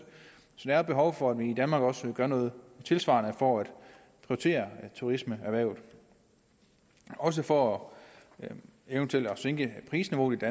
så der er behov for at vi i danmark også gør noget tilsvarende for at prioritere turismeerhvervet og også for eventuelt at sænke prisniveauet